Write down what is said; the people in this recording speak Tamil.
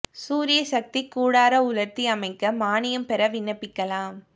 சூரிய சக்தி கூடார உலா்த்தி அமைக்க மானியம் பெற விண்ணப்பிக்கலாம்